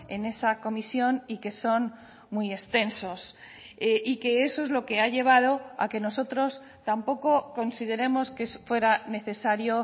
en esa comisión y que son muy extensos y que eso es lo que ha llevado a que nosotros tampoco consideremos que fuera necesario